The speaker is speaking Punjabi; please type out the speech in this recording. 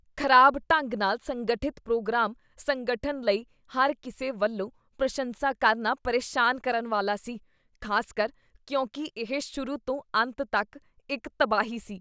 ਖ਼ਰਾਬ ਢੰਗ ਨਾਲ ਸੰਗਠਿਤ ਪ੍ਰੋਗਰਾਮ ਸੰਗਠਨ ਲਈ ਹਰ ਕਿਸੇ ਵੱਲੋਂ ਪ੍ਰਸ਼ੰਸਾ ਕਰਨਾ ਪਰੇਸ਼ਾਨ ਕਰਨ ਵਾਲਾ ਸੀ, ਖ਼ਾਸਕਰ ਕਿਉਂਕਿ ਇਹ ਸ਼ੁਰੂ ਤੋਂ ਅੰਤ ਤੱਕ ਇੱਕ ਤਬਾਹੀ ਸੀ।